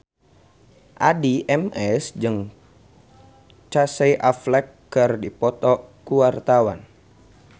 Addie MS jeung Casey Affleck keur dipoto ku wartawan